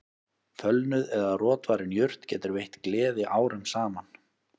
Fölnuð eða rotvarin jurt getur veitt gleði árum saman